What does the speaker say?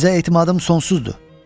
Sizə etimadım sonsuzdur.